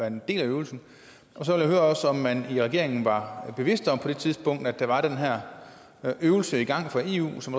en del af øvelsen så vil jeg også høre om man i regeringen var bevidst om på det tidspunkt at der var den her øvelse i gang i eu som